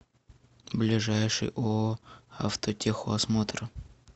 ближайший ооо автотехосмотр